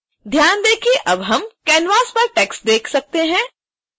ध्यान दें कि अब हम canvas पर टेक्स्ट देख सकते हैं